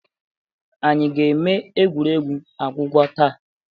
Anyị ga-eme egwuregwu agwụgwa taa.